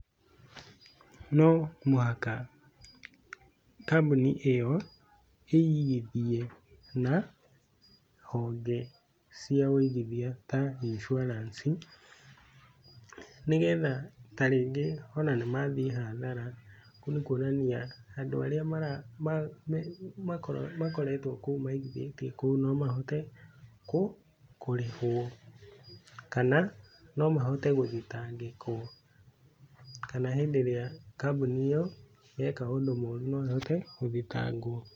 No mũhaka kambuni ĩyo ĩigithie na honge cia ũigithia ta insurance nĩgetha ta rĩngĩ ona nĩmathiĩ hathara, kũu nĩ kwonania andũ arĩa mara makoretwo kuo maigithĩtie kũu no mahote kũrĩhwo, kana no mahote gũthitangĩkwo, kana hĩndĩ ĩrĩa kambuni ĩyo yeka ũndũ mũru no ĩhote gũthitangwo.